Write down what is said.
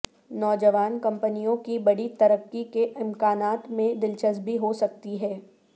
نوجوان کمپنیوں کی بڑی ترقی کے امکانات میں دلچسپی ہو سکتی ہے